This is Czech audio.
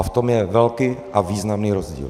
A v tom je velký a významný rozdíl.